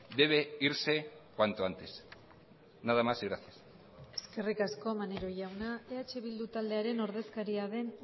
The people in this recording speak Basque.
debe irse cuanto antes nada más y gracias eskerrik asko maneiro jauna eh bildu taldearen ordezkaria den